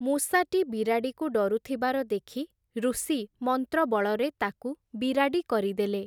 ମୂଷାଟି ବିରାଡ଼ିକୁ ଡରୁଥିବାର ଦେଖି, ଋଷି ମନ୍ତ୍ରବଳରେ ତାକୁ ବିରାଡ଼ି କରିଦେଲେ ।